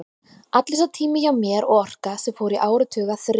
Allur sá tími hjá mér og orka, sem fór í áratuga þref við